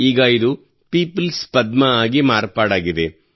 ಈಗ ಇದು ಪೀಪಲ್ಸ್ ಪದ್ಮವಾಗಿ ಮಾರ್ಪಡಾಗಿದೆ